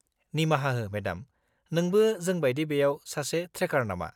-निमाहा हो, मेडाम, नोंबो जों बायदि बेयाव सासे ट्रेकार नामा?